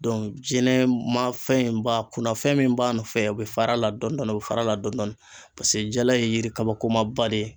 jɛnɛ ma fɛn ba kunnafɛn min b'a nɔfɛ o bɛ fara a la dɔn dɔɔni o bɛ fara a la dɔn dɔɔni paseke jala ye yiri kabakoma ba de ye.